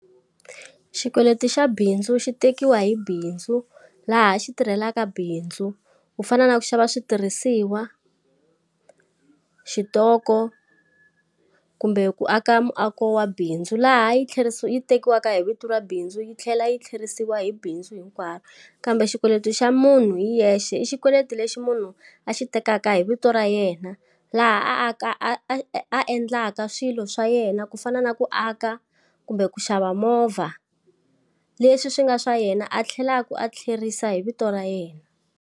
Xikweleti xa bindzu xi tekiwa hi bindzu laha xi tirhelaka bindzu ku fana na ku xava switirhisiwa, xitoko, kumbe ku aka muako wa bindzu. Laha yi tlherisiwa tekiwaka hi vito ra bindzu yi tlhela yi tlherisiwa hi bindzu hinkwaro. Kambe xikweleti xa munhu hi yexe i xikweleti lexi munhu a xi tekaka hi vito ra yena. Laha a aka a a a endlaka swilo swa yena ku fana na ku aka, kumbe ku xava movha. Leswi swi nga swa yena a tlhelaka a tlherisa hi vito ra yena.